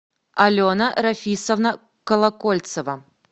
алена рафисовна колокольцева